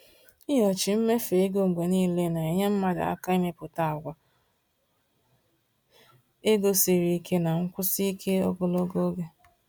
Ịnyochi mmefu ego mgbe niile na-enyere mmadụ aka ịmepụta àgwà ego siri ike na nkwụsi ike ogologo oge.